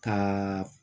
Ka